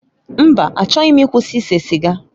Mba! Achọghị m ịkwụsị ise siga.